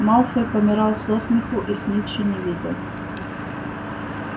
малфой помирал со смеху и снитча не видел